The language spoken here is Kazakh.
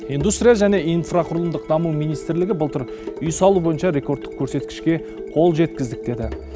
индустрия және инфрақұрылымдық даму министрлігі былтыр үй салу бойынша рекордтық көрсеткішке қол жеткіздік деді